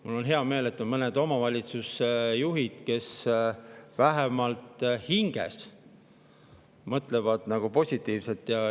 Mul on hea meel, et on mõned omavalitsusjuhid, kes vähemalt hinges mõtlevad positiivselt.